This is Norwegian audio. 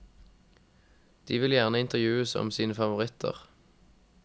De vil gjerne intervjues om sine favoritter.